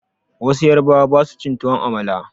Wasu yarubawan ba su cin tuwon amala